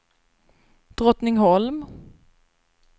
Drottningholm